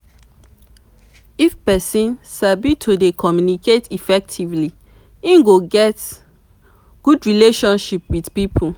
if you de communicate with persin or pipo make sure say wey you de talk with fit hear you